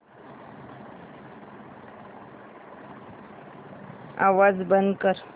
आवाज बंद कर